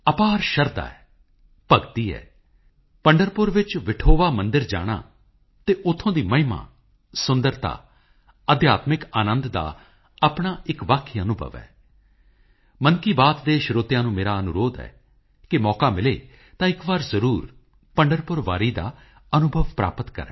ਭਾਵ ਜੇਕਰ ਤੁਹਾਡਾ ਮਨ ਅਤੇ ਹਿਰਦੇ ਪਵਿੱਤਰ ਹੈ ਤਾਂ ਖੁਦ ਈਸ਼ਵਰ ਤੁਹਾਡੇ ਹਿਰਦੇ ਵਿੱਚ ਨਿਵਾਸ ਕਰਦੇ ਹਨ ਸੰਤ ਰਵਿਦਾਸ ਜੀ ਦੇ ਸੰਦੇਸ਼ਾਂ ਨੇ ਹਰ ਤਬਕੇ ਹਰ ਵਰਗ ਦੇ ਲੋਕਾਂ ਨੂੰ ਪ੍ਰਭਾਵਿਤ ਕੀਤਾ ਹੈ ਚਾਹੇ ਚਿਤੌੜ ਦੇ ਮਹਾਰਾਜਾ ਅਤੇ ਰਾਣੀ ਹੋਣ ਜਾਂ ਫਿਰ ਮੀਰਾਬਾਈ ਹੋਣ ਸਾਰੇ ਉਨ੍ਹਾਂ ਦੇ ਅਨੁਯਾਈ ਸਨ